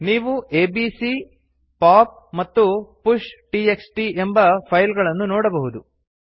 ನೀವು ABC pop ಮತ್ತು pushಟಿಎಕ್ಸ್ಟಿ ಎಂಬ ಫೈಲ್ ಗಳನ್ನು ನೋಡಬಹುದು